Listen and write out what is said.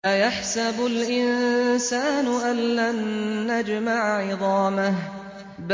أَيَحْسَبُ الْإِنسَانُ أَلَّن نَّجْمَعَ عِظَامَهُ